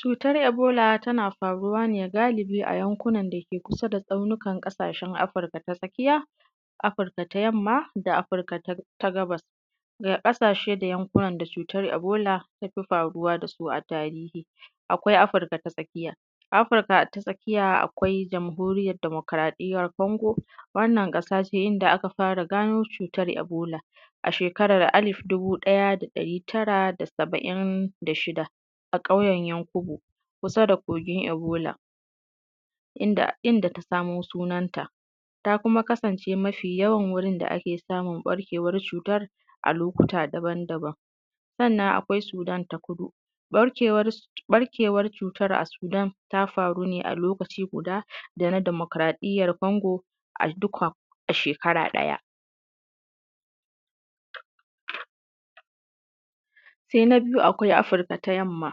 Cuutar eboola tana faruwa ne galibi a yankunan da ke kusa da tsaunukan ƙasashen Afirka ta tsakiya Afirka ta yamma da Afirka da gabas daga ƙasashe da yankunan da cuutar ebola ta fii faruwa da su a tarihi akwai Afirka A Afirka ta tsakiya akwai jamhuriyar dimokuraɗiyyar kongo wannan ƙasa ce inda aka fara ganoo cuutar ebola a sheekarar alif dubu ɗaya da ɗarii tara da saba'in da shida a ƙauyen yankubo kusa da kogin ebola, inda ta samoo sunanta ta kuma kasance mafii yawan wurin da ake samun ɓarkeewar cuutar a lokuta daban-daban. sannan akwai Sudan ta kudu, ɓarkeewar cuutar a Sudan ta faru ne a lokaci guda da na demokaraɗiyyar Kongo a duka a sheekara ɗaya. Sai na biyu akwai Afirka ta yamma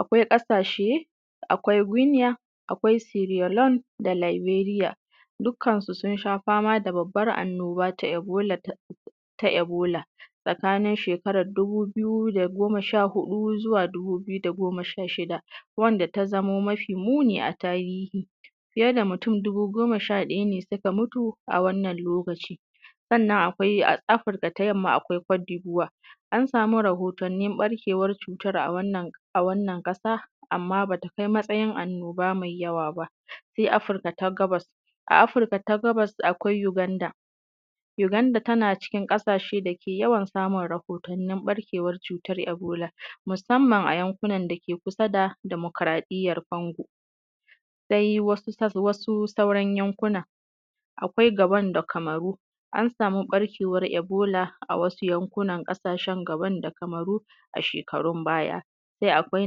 akwai ƙasashe akwai gunya, akwai sierraleone, laberiya, dukkansu sun sha fama da babbar annoba ta ebola tsakanin sheekarar ta dubu biyu da goma sha huɗu zuwa dubu biyu da goma sha shida, wanda ta zama mafii muni a tarihi fiyee da mutum dubu goma sha ɗaya ne suka mutu a wannan lokaci. Sannan akwai Afirka ta yamma, akwai codevoire an sami rahotannin ɓarkeewar cuutar a wannan ƙasa, amma ba ta kai matsayin annoba mai yawa ba. Sai Afirka ta gabas, a Afirka ta gabas uganda uganda tana cikin ƙasashe da ke yawan samun rahotannin ɓarkeewar cuutar ebola musamman a yankunan da ke kusa da demokaraɗiyyar kongo. Sai wasu sauran yankuna akwai gabon da Cameroon an samu ɓarkeewar eboola a wasu yankunan ƙasashen Gabon da cameroon a sheekarun baya, sai akwai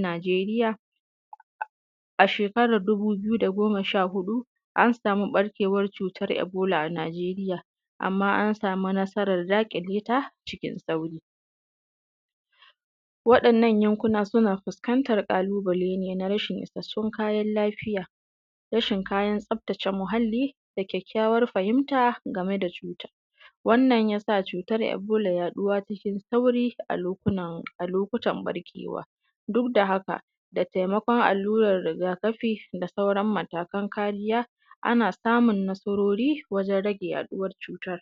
Nigeria a sheekarar dubu biyu da goma sha huɗu an samu ɓarkeewar cuutar ebola a Nigeria amma an samu nasarar daƙilee ta cikin saurii. Waɗannan yankuna suna fuskantar ƙalubalee ne na rashin isassun kayan lafiya, rashin kayan tsaftace muhallii da kyakkyawar fahimta game da cuutar. Wannan ya sa cuutar ebola yaɗuwa cikin saurii a lokutan ɓarkeewa, duk da haka da taimakon allurar rigakafi da sauran matakan kariya ana samun nasaroori wajen rage yaɗuwar cuutar.